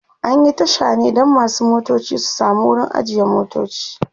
an Yi Tasha ne Dan masu motoci su samu wurin ajiye motoci